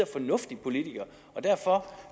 fornuftig politiker og derfor